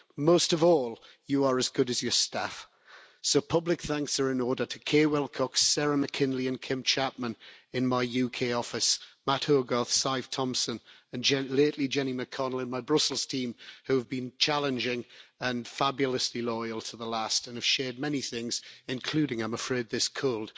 Most of all, you are as good as your staff, so public thanks are in order to Kay Wilcox, Sarah McKinley and Kim Chapman in my UK office, Mat Hogarth, Sive Thompson and, lately, Jenny McConnel, in my Brussels team who have been challenging and fabulously loyal to the last and have shared many things, including, I'm afraid, this cold.